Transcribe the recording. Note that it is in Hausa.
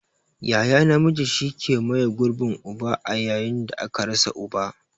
Yaya namiji shi ke maye gurbin uba a yayin da aka rasa uba.